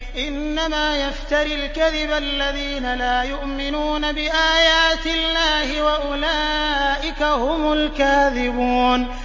إِنَّمَا يَفْتَرِي الْكَذِبَ الَّذِينَ لَا يُؤْمِنُونَ بِآيَاتِ اللَّهِ ۖ وَأُولَٰئِكَ هُمُ الْكَاذِبُونَ